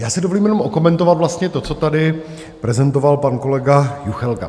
Já si dovolím jenom okomentovat vlastně to, co tady prezentoval pan kolega Juchelka.